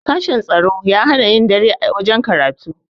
sashen tsaro ya hana yin dare a wajen karatu